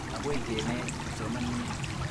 Akoi ke net kipsomaninik.